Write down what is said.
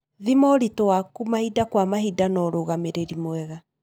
Thima ũritũ waku mahinda kwa mahinda na ũrũgamĩrĩri mwega.